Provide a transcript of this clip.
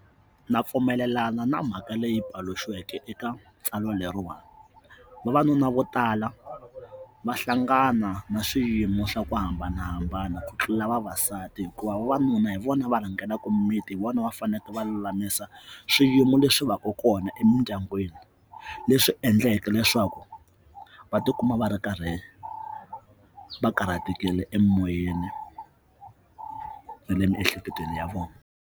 Na pfumelelana na mhaka leyi paluxiweke eka ntsalwa leriwani vavanuna vo tala va hlangana na swiyimo swa ku hambanahambana ku tlula vavasati hikuva vavanuna hi vona va rhangelaka mimiti hi vona va faneke va lulamisa swiyimo leswi va ka kona emindyangwini leswi endlaka leswaku va tikuma va ri karhi va karhatekile emoyeni na le miehleketweni ya vona.